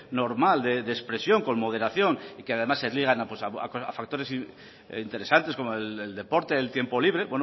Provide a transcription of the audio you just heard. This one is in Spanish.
normal de expresión con moderación y que además se ligan a factores interesante como el deporte el tiempo libre